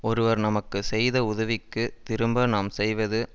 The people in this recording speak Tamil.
ஒருவர் நமக்கு செய்த உதவிக்குத் திரும்ப நாம் செய்வது